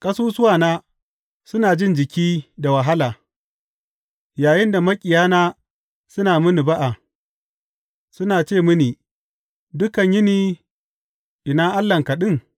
Ƙasusuwana suna jin jiki da wahala yayinda maƙiyana suna mini ba’a, suna ce mini dukan yini, Ina Allahnka ɗin?